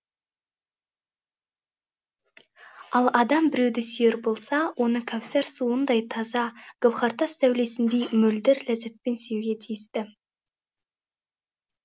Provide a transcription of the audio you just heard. ал адам біреуді сүйер болса оны кәусәр суындай таза гауһартас сәулесіндей мөлдір ләззатпен сүюге тиісті